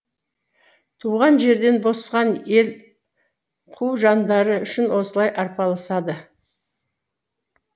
туған жерден босқан ел қу жандары үшін осылай арпалысады